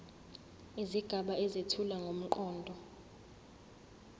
izigaba ezethula ngomqondo